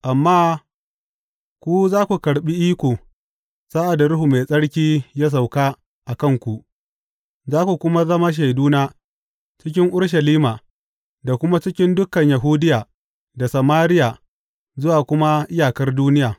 Amma ku za ku karɓi iko sa’ad da Ruhu Mai Tsarki ya sauka a kanku; za ku kuma zama shaiduna cikin Urushalima, da kuma cikin dukan Yahudiya da Samariya, zuwa kuma iyakar duniya.